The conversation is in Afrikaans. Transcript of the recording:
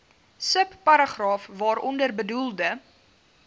subparagraaf waaronder bedoelde